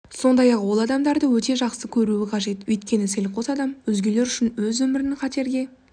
сондай-ақ ол адамдарды өте жақсы көруі қажет өйткені селқос адам өзгелер үшін өз өмірін қатерге